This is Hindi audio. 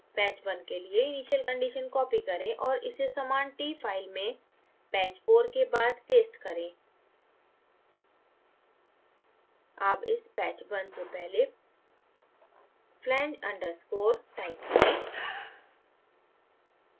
patch 1 के लिए initial conditions copy करें और इसे समान file t में patch 4 के बाद paste करें